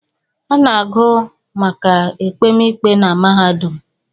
A na-agụ maka ekpemikpe na mahadụm